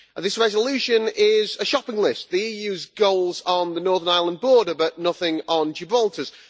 This resolution is a shopping list the EU's goals on the Northern Ireland border but nothing on Gibraltar's.